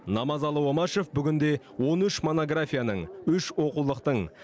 намазалы омашев бүгінде он үш монографияның үш оқулықтың